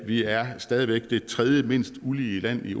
vi er stadig væk det tredjemindst ulige land i